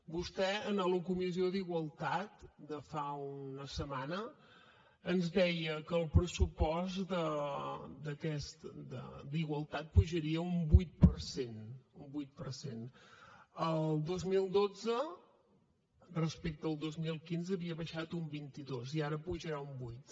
vostè en la comissió d’igualtat de fa una setmana ens deia que el pressupost d’igualtat pujaria un vuit per cent el dos mil dotze respecte al dos mil quinze havia baixat un vint dos i ara pujarà un vuit